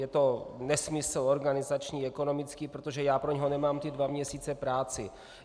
Je to nesmysl organizační, ekonomický, protože já pro něho nemám ty dva měsíce práci.